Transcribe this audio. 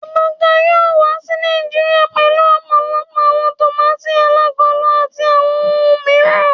Ebuka yoo wa si Naijiria pẹlu ọpọlọpọ awọn tomati alagolo ati awọn ohun miiran